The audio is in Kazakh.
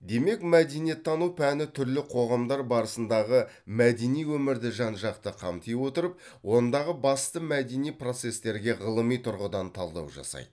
демек мәдениеттану пәні түрлі қоғамдар барысындағы мәдени өмірді жан жақты қамти отырып ондағы басты мәдени процестерге ғылыми тұрғыдан талдау жасайды